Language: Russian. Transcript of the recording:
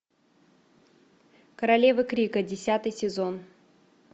королевы крика десятый сезон